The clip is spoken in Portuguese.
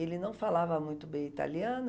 Ele não falava muito bem italiano,